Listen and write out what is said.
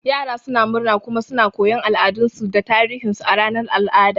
Yara suna murna kuma suna koyon al'adunsu da tarihinsu a ranar al'adu.